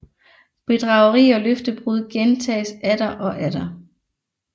Bedrageri og løftebrud gentages atter og atter